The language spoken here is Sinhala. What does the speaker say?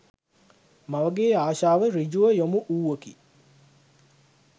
මවගේ ආශාව ඍජුව යොමු වූවකි